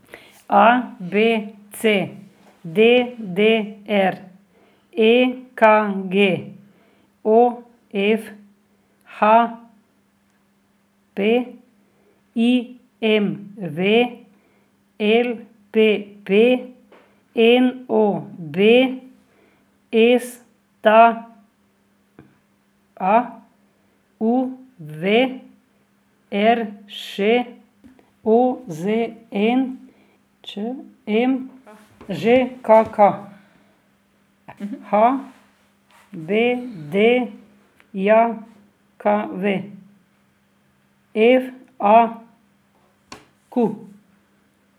A B C; D D R; E K G; O F; H P; I M V; L P P; N O B; S T A; U V; R Š; O Z N; Č M; Ž K K; H B D J K V; F A Q.